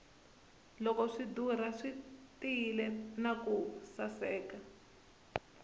loko swi dura swi tiyile naku saseka